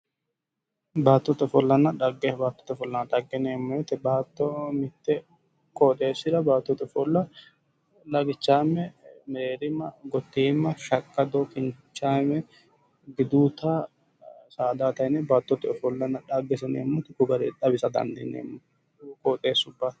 Baattote ofollanna dhaggete baattote ofolla yineemo woyite baatto mitte qooxessira baattote ofolla lagichaame, mereerima, gottiima, shaqaddo, kinichaame gidoota saadatenni baattote ofolla dahageseti yineemota ko garii xawisa danidiineemo